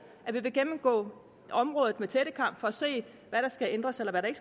at vi vil gennemgå området med tættekam for at se hvad der skal ændres og hvad der